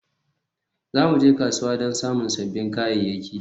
Za mu je kasuwa don samun sabbin kayayyaki